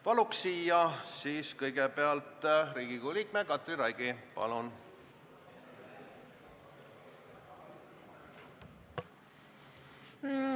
Palun siis kõnepulti kõigepealt Riigikogu liikme Katri Raigi!